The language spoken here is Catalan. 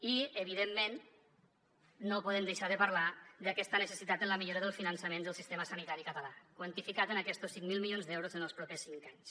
i evidentment no podem deixar de parlar d’aquesta necessitat en la millora del finançament del sistema sanitari català quantificat en aquestos cinc mil milions d’euros en els propers cinc anys